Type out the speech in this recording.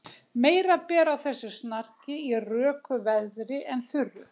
Meira ber á þessu snarki í röku veðri en þurru.